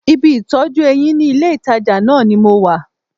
Ibi ìtọ́jú eyín ní ilé-ìtàjà náà ni mo wà